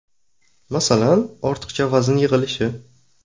Masalan, ortiqcha vazn yig‘ilishi.